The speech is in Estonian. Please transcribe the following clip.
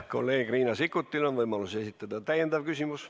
Kolleeg Riina Sikkutil on võimalus esitada täiendav küsimus.